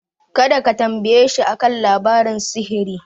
Kada ka tambayeshi a kan labaran sihiri.